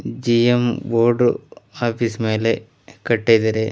GM board office ಮೇಲೆ ಕಟ್ಟಿದರೆ--